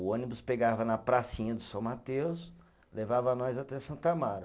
O ônibus pegava na pracinha de São Mateus, levava nós até Santo Amaro.